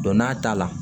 Don n'a t'a la